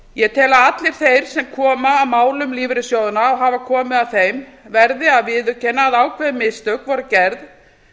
ég tel að allir þeir sem koma að málum lífeyrissjóðanna og hafa komið að þeim verði að viðurkenna að ákveðin mistök voru gerð